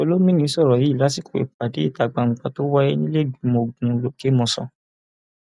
olomini sọrọ yìí lásìkò ìpàdé ìta gbangba tó wáyé nílẹẹgbìmọ ogun lòkèmọsán